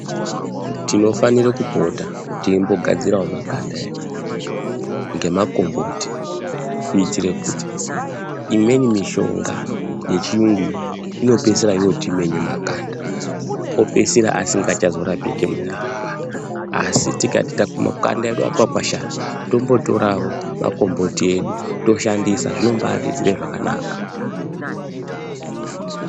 Tinofanire kupota teimbo gadzirawo makanda edu ngemakomboti kuitire kuti imweni mishonga yechiyungu iyi inopisira yotimenye makanda opeisira asikacha zorapiki mune ramangwani asi tikati ta makanda edu ati kwakwashara tombotorawo magomboti edu toshandisa zvino mbaatiitire zvakanaka.